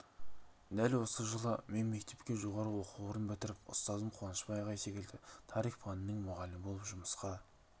дәл осы жылы мен мектепке жоғарғы оқу орнын бітіріп ұстазым қуанышбай ағай секілді тарих пәнінің мұғалімі болып жұмысқа